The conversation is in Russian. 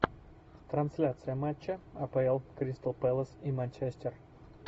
трансляция матча апл кристал пэлас и манчестер